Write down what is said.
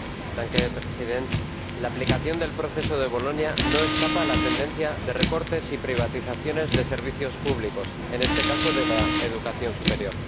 Señor Presidente, la aplicación del Proceso de Bolonia no escapa a la tendencia de recortes y privatizaciones de servicios públicos, en este caso de la educación superior.